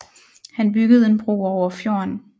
Han byggede en bro over fjorden